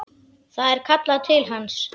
Það er kallað til hans.